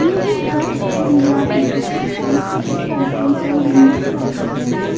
ये एक बंद एरिया है जिसमें ट्रांसपेरेंट कर्टेन्स और विंडोस लगे हैं।